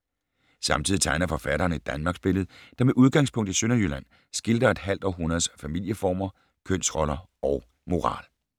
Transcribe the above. Samtidig tegner forfatteren et Danmarksbillede, der med udgangspunkt i Sønderjylland, skildrer et halvt århundredes familieformer, kønsroller og moral.